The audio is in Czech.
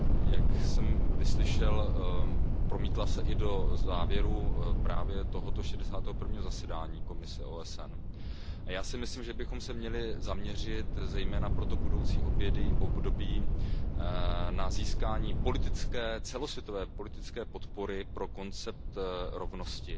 Jak jsem slyšel, promítla se i do závěrů právě tohoto šedesátého prvního zasedání Komise OSN pro postavení žen. Já si myslím, že bychom se měli zaměřit zejména pro to budoucí období na získání celosvětové politické podpory pro koncept rovnosti,